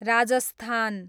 Rajasthan